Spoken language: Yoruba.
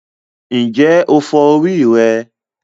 Ǹjẹ́ o fọ orí rẹ?